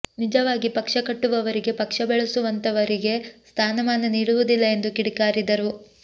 ನಿಜವಾಗಿ ಪಕ್ಷ ಕಟ್ಟುವವರಿಗೆ ಪಕ್ಷ ಬೆಳೆಸುವಂತವರಿಗೆ ಸ್ಥಾನಮಾನ ನೀಡುವುದಿಲ್ಲ ಎಂದು ಕಿಡಿಕಾರಿದರು